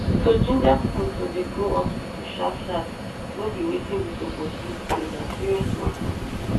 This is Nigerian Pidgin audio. to ginger pipo to dey go hospital sharp sharp nor be wetin we supose use play na serious matter